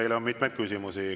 Teile on mitmeid küsimusi.